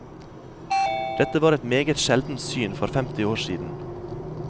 Dette var et meget sjeldent syn for femti år siden.